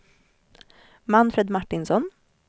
Manfred Martinsson